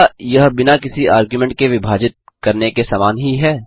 क्या यह बिना किसी आर्ग्युमेंट के विभाजित करने के समान ही है